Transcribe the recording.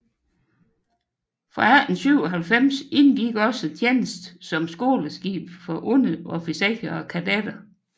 Fra 1897 indgik også tjeneste som skoleskib for underofficerer og kadetter